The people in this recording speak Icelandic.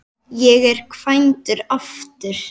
Ég er kvæntur aftur.